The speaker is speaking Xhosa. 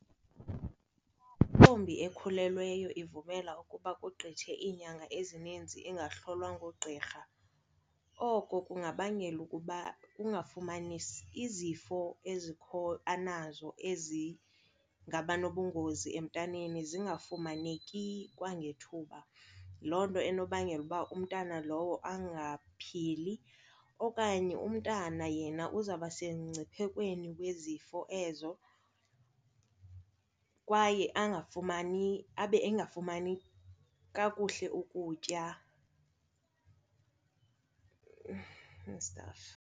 Intombi ekhulelweyo ivumela ukuba kugqithe iinyanga ezininzi engahlolwa ngugqirha, oko kungabangela ukuba kungafumanisi izifo ezikho anazo ezingaba nobungozi emntaneni zingafumaneki kwangethuba. Loo nto inobangela uba umntana lowo angaphili okanye umntana yena uzawuba semngciphekweni wezifo ezo kwaye angafumani abe engafumani kakuhle ukutya and stuff.